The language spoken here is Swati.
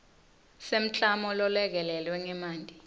semklamo lolekelelwe ngetimali